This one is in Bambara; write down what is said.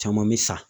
Caman bɛ sa